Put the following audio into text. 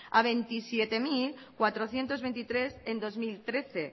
a veintisiete mil cuatrocientos veintitrés en dos mil trece